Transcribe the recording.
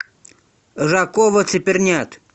жаковацепернят